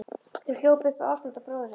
Þá hljóp upp Ásbrandur bróðir hans.